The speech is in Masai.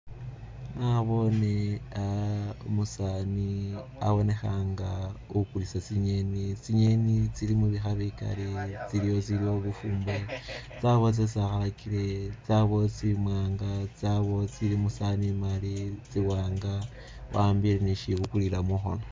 Naboone a'a umusani abonekha nga ukulisa tsi'ngeni , tsi'ngeni tsili mubikha bikaali ,tsiliwo itsilikho bufumbo tsabawo tsesi abakile tsabawo itsili musawani imali tsiwanga wa'ambile ne isibukulila mukhono.